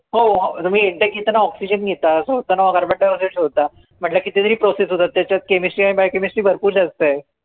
हो तुम्ही एकदा घेतांना oxygen घेता सोडतांना carbon dioxide सोडता म्हंटल किती तरी process होतात त्याच्यात chemistry आणि biochemistry भरपूर जास्त आय